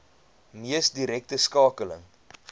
mees direkte skakeling